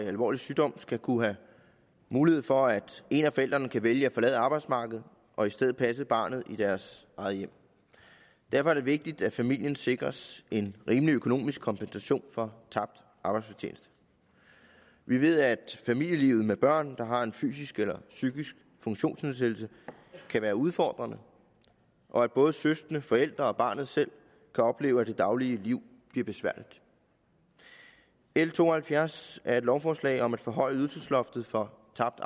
alvorlig sygdom skal kunne have mulighed for at en af forældrene kan vælge at forlade arbejdsmarkedet og i stedet passe barnet i deres eget hjem derfor er det vigtigt at familien sikres en rimelig økonomisk kompensation for tabt arbejdsfortjeneste vi ved at familielivet med børn der har en fysisk eller psykisk funktionsnedsættelse kan være udfordrende og at både søskende forældre og barnet selv kan opleve at det daglige liv bliver besværligt l to og halvfjerds er et lovforslag om at forhøje ydelsesloftet for tabt